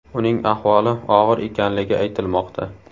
Uning ahvoli og‘ir ekanligi aytilmoqda.